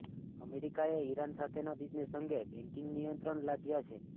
અમેરિકાએ ઇરાન સાથેના બિઝનેસ અંગે બેન્કિંગ નિયંત્રણ લાદ્યાં છે